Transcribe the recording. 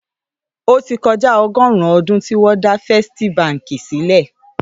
Ótì kòjá ọgọ́ọ̀rún ódùn tiwòn dà Fèstí bànkí silè